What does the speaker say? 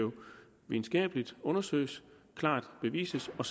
videnskabeligt undersøges klart bevises og